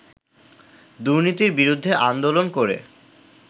দুর্নীতির বিরুদ্ধে আন্দোলন করে